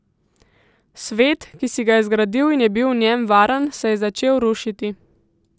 Svet, ki si ga je zgradil in je bil v njem varen, se je začel rušiti.